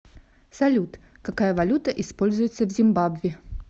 салют какая валюта используется в зимбабве